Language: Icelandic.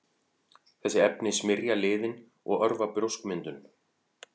Þessi efni smyrja liðinn og örva brjóskmyndun.